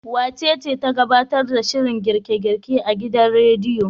Wacece ta gabtar da shirin girke-girke a gidan radiyon?